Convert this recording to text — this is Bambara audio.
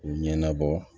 U ɲɛnabɔ